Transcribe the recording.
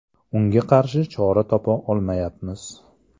Unga qarshi chora topa olmayapmiz.